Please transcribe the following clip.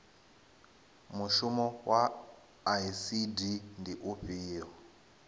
mushumo wa icd ndi ufhio